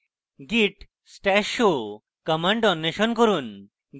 git stash show command অন্বেষণ করুন